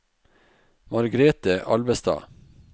Margrete Alvestad